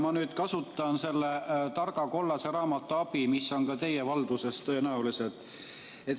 Ma nüüd kasutan selle targa kollase raamatu abi, mis on ka teie valduses tõenäoliselt.